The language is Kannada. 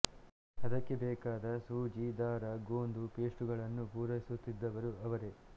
ಅದಕ್ಕೆ ಬೇಕಾದ ಸೂಜಿ ದಾರ ಗೋಂದು ಪೇಸ್ಟುಗಳನ್ನು ಪೂರೈಸುತ್ತಿದ್ದವರು ಅವರೇ